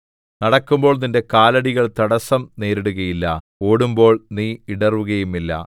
നടക്കുമ്പോൾ നിന്റെ കാലടികൾ തടസ്സം നേരിടുകയില്ല ഓടുമ്പോൾ നീ ഇടറുകയുമില്ല